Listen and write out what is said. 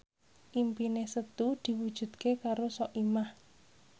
impine Setu diwujudke karo Soimah